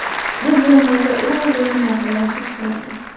Bu bo‘lmasa, u o‘zini noqulay his qiladi.